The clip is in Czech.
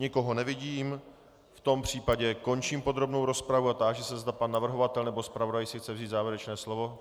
Nikoho nevidím, v tom případě končím podrobnou rozpravu a táži se, zda pan navrhovatel nebo zpravodaj si chce vzít závěrečné slovo.